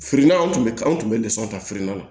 Firina tun bɛ anw tun bɛ lisɔn ta firinanna